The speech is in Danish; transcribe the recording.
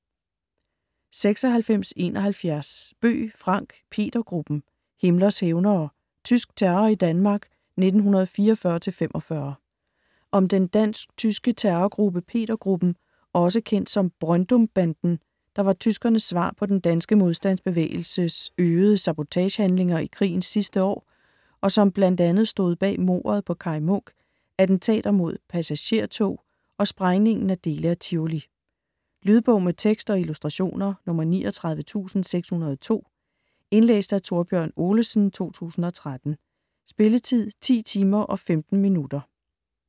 96.71 Bøgh, Frank: Petergruppen: Himmlers hævnere: tysk terror i Danmark 1944-45 Om den dansk/tyske terrorgruppe Peter-Gruppen, også kendt som Brøndumbanden, der var tyskernes svar på den danske modstandsbevægelses øgede sabotagehandlinger i krigens sidste år, og som bl.a. stod bag mordet på Kaj Munk, attentater mod passagertog og sprængningen af dele af Tivoli. Lydbog med tekst og illustrationer 39602 Indlæst af Thorbjørn Olesen, 2013. Spilletid: 10 timer, 15 minutter.